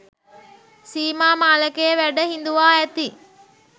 සීමා මාලකයේ වැඩ හිඳුවා ඇති